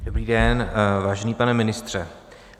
Dobrý den, vážený, pane ministře.